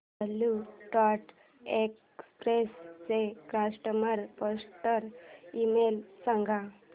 blue Dart Express चा customer support email सांग